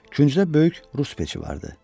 Küncdə böyük rus peçi vardı.